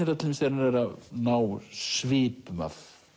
það til dæmis þegar hann er að ná svipum af